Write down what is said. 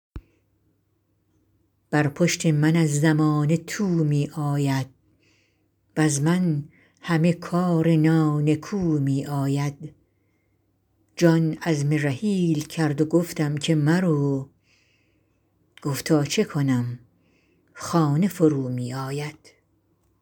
بر پشت من از زمانه تو می آید وز من همه کار نانکو می آید جان عزم رحیل کرد و گفتم بمرو گفتا چه کنم خانه فرومی آید